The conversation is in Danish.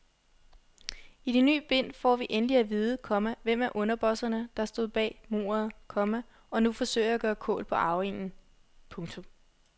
I det ny bind får vi endelig at vide, komma hvem af underbosserne der stod bag mordet, komma og nu forsøger at gøre kål på arvingen. punktum